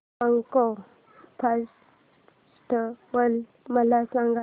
mango festival मला सांग